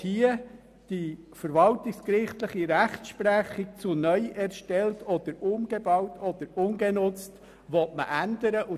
Hier soll die verwaltungsgerichtliche Rechtsprechung zu den Begriffen «neu erstellt», «umgebaut» oder «ungenutzt» geändert werden, und ich bleibe dabei: